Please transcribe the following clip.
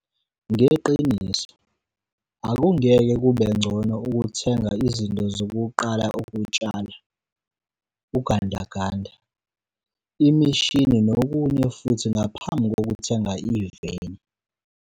Ngeqiniso, akungeke kubengcono ukuthenga izinto zokuqala ukutshala, ugandaganda, imishini nokunye futhi ngaphambi kokuthenga iveni!